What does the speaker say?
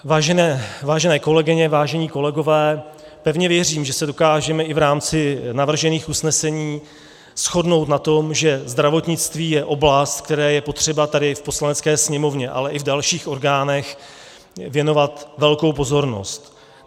Vážené kolegyně, vážení kolegové, pevně věřím, že se dokážeme i v rámci navržených usnesení shodnout na tom, že zdravotnictví je oblast, které je potřeba tady v Poslanecké sněmovně, ale i v dalších orgánech věnovat velkou pozornost.